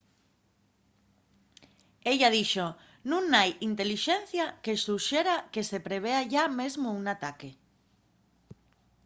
ella dixo nun hai intelixencia que suxera que se prevea yá mesmo un ataque